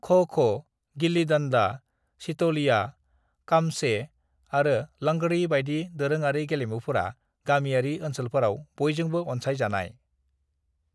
"ख'-ख', गिल्ली डन्डा, सितोलिया, काम्चे आरो लंगड़ी बायदि दोरोङारि गेलेमुफोरा गामियारि ओनसोलफोराव बयजोंबो अनसाय जानाय।"